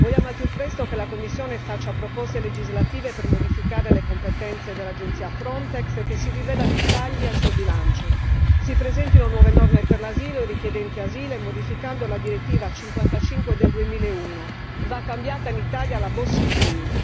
Vogliamo al più presto che la Commissione faccia proposte legislative per modificare le competenze dell'agenzia Frontex e che si rivedano i tagli al suo bilancio, si presentino nuove norme per i richiedenti asilo e modificando la direttiva 55 del 2001, va cambiata in Italia la Bossi Fini.